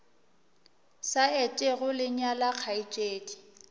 sa etego le nyala kgaetšedi